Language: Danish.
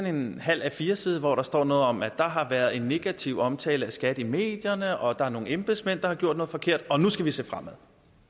en halv a4 side hvor der står noget om at der har været negativ omtale af skat i medierne og der er nogle embedsmænd der har gjort noget forkert og nu skal vi se fremad